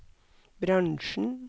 bransjen